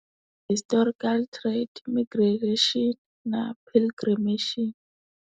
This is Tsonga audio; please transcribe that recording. Historical trade, na pilgrimation.